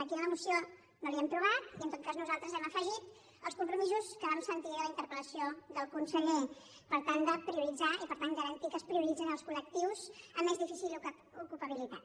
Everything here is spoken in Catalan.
aquí en la moció no l’hem trobat i en tot cas nosaltres hem afegit els compromisos que vam sentir de la interpel·lació del conseller per tant de prioritzar i per tant garantir que es prioritzen els colpabilitat